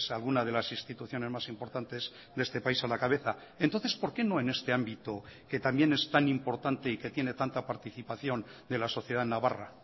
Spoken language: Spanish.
alguna de las instituciones más importantes de este país a la cabeza entonces por qué no en este ámbito que también es tan importante y que tiene tanta participación de la sociedad navarra